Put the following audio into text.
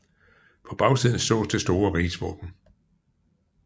På bagsiden sås det store rigsvåben